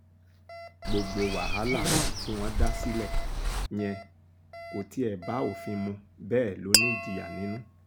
gbogbo wàhálà tí wọ́n dá sílẹ̀ yẹn kò tiẹ̀ bá òfin mu bẹ́ẹ̀ lọ ní ìjìyà nínú